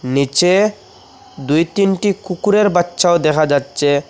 নীচে দুই তিনটি কুকুরের বাচ্চাও দেখা যাচ্চে ।